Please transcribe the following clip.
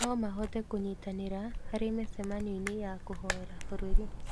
No mahote kũnyitanĩra harĩ mĩcemanio-inĩ ya kũhoera bũrũri.